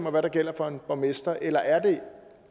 og hvad der gælder for en borgmester eller er det